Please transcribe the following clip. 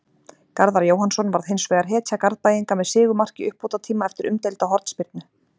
Garðar Jóhannsson varð hinsvegar hetja Garðbæinga með sigurmark í uppbótartíma eftir umdeilda hornspyrnu.